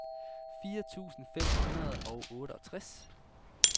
fire tusind fem hundrede og otteogtres